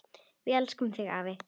Við elskum þig, afi.